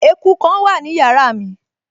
Eku kan wà ní yàrá mi